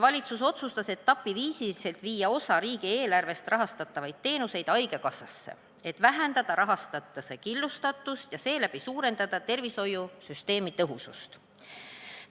Valitsus otsustas etapi viisi viia osa riigieelarvest rahastatavate teenuste rahastamise haigekassasse, et vähendada rahastatuse killustatust ja seeläbi suurendada tervishoiusüsteemi tõhusust.